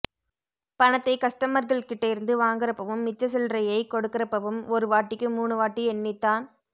பணத்தை கஸ்டமர்கள்கிட்டயிருந்து வாங்கறப்பவும் மிச்ச சில்லறையை கொடுக்கிறப்பவும் ஒரு வாட்டிக்கு மூணு வாட்டி எண்ணித்தான்